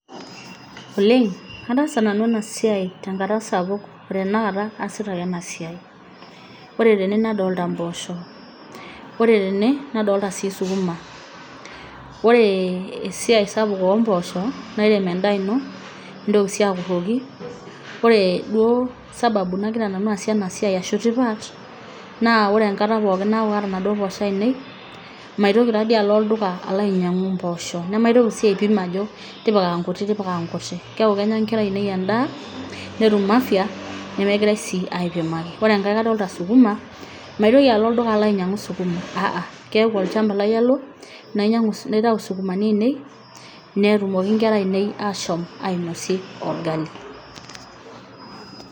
oleng ataasa nanu ena siai tenkata sapuk otenakata aasita ake ena siai ore tene nadolta mpoosho ore tene nadolita sii sukuma wore esiai sapuk ompoosho nairem endaa ino nintoki sii akurroki ore duo sababu nagira nanu aasie ena siai ashu tipat naa wore enkata pookin naku kaata inaduo posho ainei maitoki tadi alo olduka alo ainyiang'u mpoosho nemaitoki sii aipim ajo tipika inkuti tipika nkuti keeku kenya inkera ainei endaa netum afya nemegirae sii aipimaki ore enkae kadolta sukuma maitoki alo olduka alo ainyiang'u sukuma aa keku olchamba lai alo nainyiang'u naitau isukumani ainei netumoki inkera ainei ashom ainosie orgali.